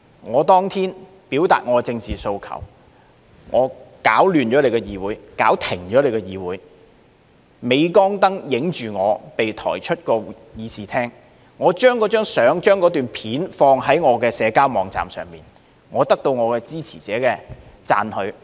他當天表達其政治訴求，攪亂了議會、搞停了議會，在鎂光燈拍下他被抬出議事廳，然後他將那張相、那片段放在社交網站上，得到其支持者的讚許。